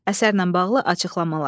Əsərlə bağlı açıqlamalar.